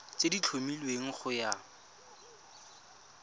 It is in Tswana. tse di tlhomilweng go ya